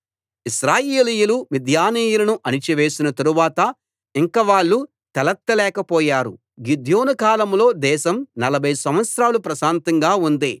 ఇశ్రాయేలీయులు మిద్యానీయులను అణచి వేసిన తరువాత ఇంక వాళ్ళు తలెత్త లేకపోయారు గిద్యోను కాలంలో దేశం నలభై సంవత్సరాలు ప్రశాంతంగా ఉంది